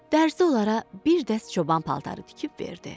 Dərzi onlara bir dəst çoban paltarı tikib verdi.